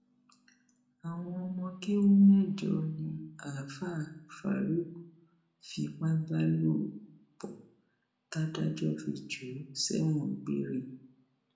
àwọn ọmọ kéwu mẹjọ ni àáfáà farouk fipá bá lò pọ tàdájọ fi jù ú sẹwọn gbére